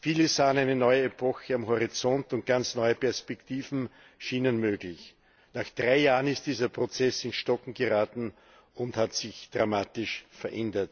Viele sahen eine neue Epoche am Horizont, und ganz neue Perspektiven schienen möglich. Nach drei Jahren ist dieser Prozess ins Stocken geraten und hat sich dramatisch verändert.